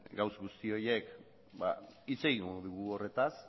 gauza guzti horiek ba hitz egingo dugu horretaz